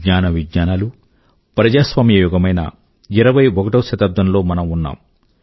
జ్ఞాన విజ్ఞానాలు ప్రజాస్వామ్య యుగమైన ఇరవై ఒకటవ శతాబ్దం లో మనం ఉన్నాము